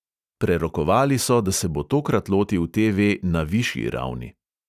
Prerokovali so, da se bo tokrat lotil TV na višji ravni.